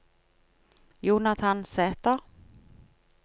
Jonathan Sæter